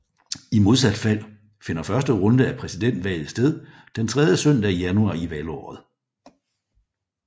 I modsat fald finder første runde af præsidentvalget sted den tredje søndag i januar i valgåret